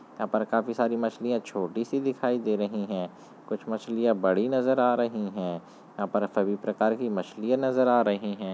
यहाँ पर काफ़ी सारी मछलियाँ छोटी -सी दिखाई दे रही है कुछ मछलियाँ बड़ी नजर आ रही हैं यहाँ पर सभी प्रकार की मछलियाँ नज़र आ रही हैं।